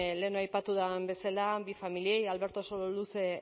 lehenago aipatu den bezala bi familiei alberto sololuze